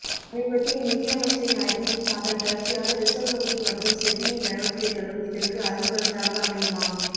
சமீபத்திய நிதி அமைச்சரின் அறிவுப்பும் அதன் தொடர்ச்சியாக ரிசர்வ் வங்கி மற்றும் செபியின் நடவடிக்கைளும் இதற்கு அருமருந்தாக அமையுமா